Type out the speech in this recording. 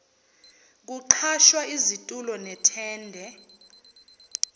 kuqhashwa izitulo nethende